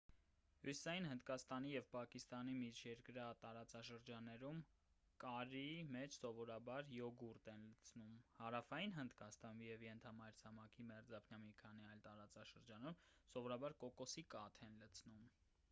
հյուսիսային հնդկաստանի և պակիստանի միջերկրյա տարածաշրջաններում կարրիի մեջ սովորաբար յոգուրտ են լցնում հարավային հնդկաստանում և ենթամայրցամաքի մերձափնյա մի քանի այլ տարածաշրջաններում սովորաբար կոկոսի կաթ են լցնում